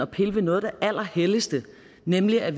pille ved noget af det allerhelligste nemlig at